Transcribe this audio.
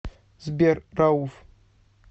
сбер рауф